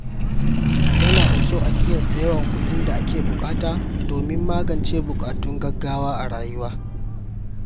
Yana da kyau a ƙiyasta yawan kuɗin da ake buƙata domin magance buƙatun gaugawa a rayuwa.